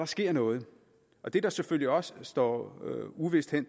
sker noget det der selvfølgelig også står uvist hen